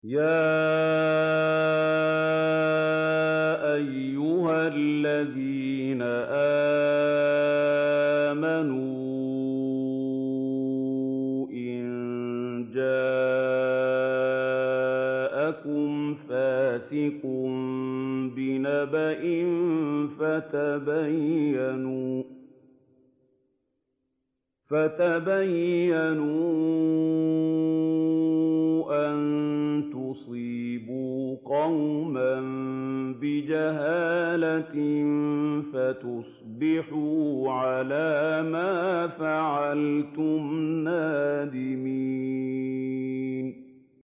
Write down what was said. يَا أَيُّهَا الَّذِينَ آمَنُوا إِن جَاءَكُمْ فَاسِقٌ بِنَبَإٍ فَتَبَيَّنُوا أَن تُصِيبُوا قَوْمًا بِجَهَالَةٍ فَتُصْبِحُوا عَلَىٰ مَا فَعَلْتُمْ نَادِمِينَ